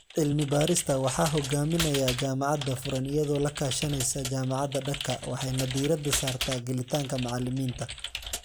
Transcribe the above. Cilmi-baarista waxaa hogaaminaya Jaamacadda Furan iyadoo la kaashanaysa Jaamacadda Dhaka waxayna diiradda saartaa gelitaanka macallimiinta.